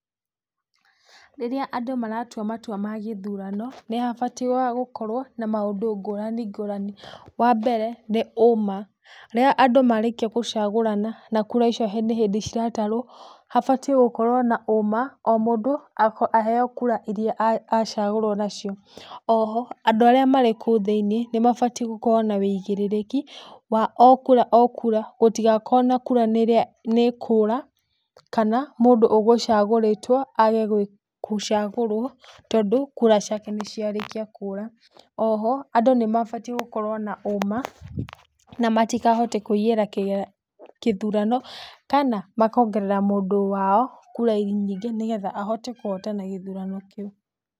Rĩrĩa andũ maratua matua ma gĩthurano, nĩhabatiĩ wa gũkorwo na maũndũ ngũrani ngũrani. Wambere nĩ ũma. Rĩrĩa andũ marĩkia kũcagũrana, na kura icio nĩ hĩndĩ ciratarwo, habatiĩ gũkorwo na ũma o mũndũ aheywo kura iria acagũrwo nacio. Oho andũ arĩa marĩ kũu thĩiniĩ mabatiĩ gũkorwo na wĩigĩrĩrĩki wa o kura o kura, gũtigakoo na kura nĩ ikura kana mũndũ nĩ ũgũcagũrĩtwo age gũcagũrwo tondũ kura ciake nĩciarĩkia kũũra. Oho andũ nĩ mabatiĩ gũkorwo na ũma na matikahote kũiyĩra kĩthurano kana makongerera mũndũ wao kura nyingĩ nĩgetha ahote kũhotana gĩthurano kĩu.